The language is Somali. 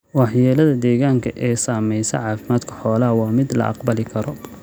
Waxyeelada deegaanka ee saamaysa caafimaadka xoolaha waa mid la aqbali karo.